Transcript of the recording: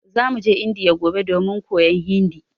Zamu je Indiya gobe domin koyar Hindi